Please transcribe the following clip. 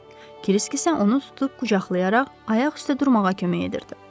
Kriski isə onu tutub qucaqlayaraq ayaq üstə durmağa kömək edirdi.